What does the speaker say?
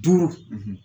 Duuru